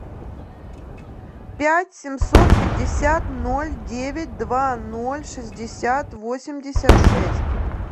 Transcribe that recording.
пять семьсот пятьдесят ноль девять два ноль шестьдесят восемьдесят шесть